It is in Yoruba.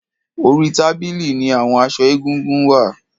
Orí tábìlì ní àwon aṣọ egúngún wà.